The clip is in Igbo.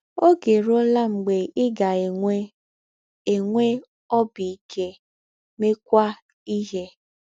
Oge erụọla mgbe ị ga - enwe “ enwe “ ọbi ike, meekwa ihe. ”